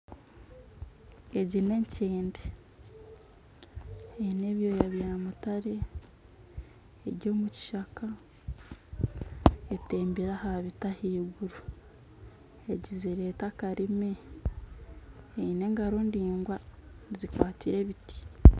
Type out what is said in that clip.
Egi n'enkyende eine ebyooya bya mutare eri omu kishaka etembire aha biti ah'iguru egizire eti akarimi. Eine engaro ningwa zikwatsire ebiti.